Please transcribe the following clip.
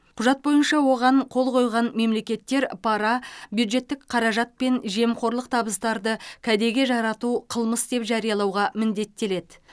құжат бойынша оған қол қойған мемлекеттер пара бюджеттік қаражат пен жемқорлық табыстарды кәдеге жарату қылмыс деп жариялауға міндеттеледі